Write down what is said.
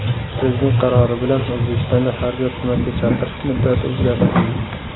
Prezident qarori bilan O‘zbekistonda harbiy xizmatga chaqirish muddati o‘zgartirildi.